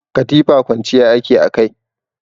Katifa kwanciya ake a kai.